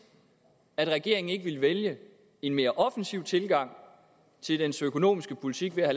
at regeringen ikke ville vælge en mere offensiv tilgang i dens økonomiske politik ved at